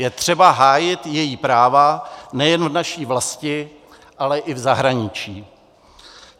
Je třeba hájit její práva nejen v naší vlasti, ale i v zahraničí.